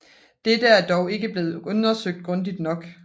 Dette er dog ikke blevet undersøgt grundigt nok